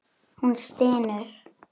Hún stynur.